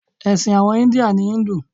Èsìn àwon India ni Hindu